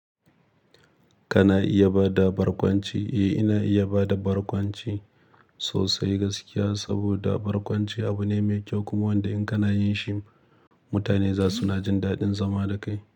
Kana iya ba da barkwanci? Eh, ina iya ba da barkwanci sosai gaskiya. Saboda barkwanci abu ne mai kyau. Kuma wanda in kana yin shi mutane zasu najin daɗin zama dakai.